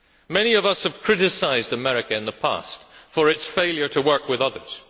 Many of us have criticised America in the past for its failure to work with others.